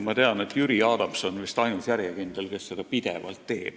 Tean, et Jüri Adams on vist ainus järjekindel inimene, kes seda pidevalt teeb.